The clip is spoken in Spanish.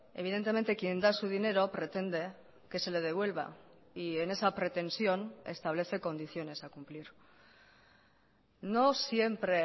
evidentemente quien da su dinero pretende que se le devuelva y en esa pretensión establece condiciones a cumplir no siempre